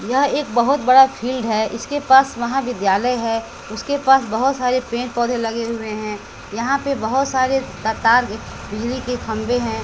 यह एक बहोत बड़ा फील्ड है इसके पास महाविद्यालय है उसके पास बहोत सारे पेड़ पौधे लगे हुए है यहां पे बहोत सारे त तार बिजली के खंभे हैं।